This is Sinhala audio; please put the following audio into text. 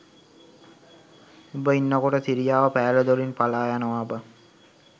උඹ ඉන්නකොට සිරියාව පෑල දොරින් පළා යනවා බං